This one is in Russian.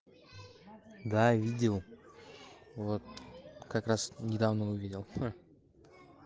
да видел вот как раз недавно увидел